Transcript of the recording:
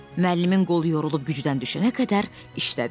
Müəllimin qolu yorulub gücdən düşənə qədər işlədil.